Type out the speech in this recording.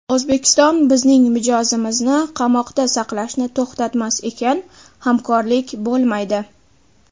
O‘zbekiston bizning mijozimizni qamoqda saqlashni to‘xtatmas ekan, hamkorlik bo‘lmaydi.